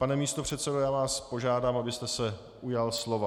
Pane místopředsedo, já vás požádám, abyste se ujal slova.